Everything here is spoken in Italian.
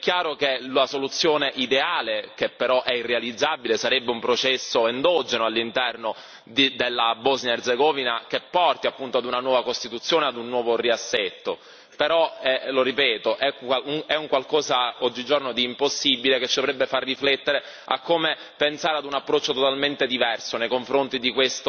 È chiaro che la soluzione ideale, che però è irrealizzabile, sarebbe un processo endogeno all'interno della Bosnia Erzegovina, che porti appunto ad una nuova costituzione, ad un nuovo riassetto, però, lo ripeto, è un qualcosa oggigiorno di impossibile che ci dovrebbe far riflettere su come pensare ad un approccio totalmente diverso nei confronti di